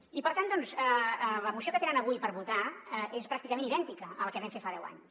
i per tant doncs la moció que tenen avui per votar és pràcticament idèntica a la que vam fer fa deu anys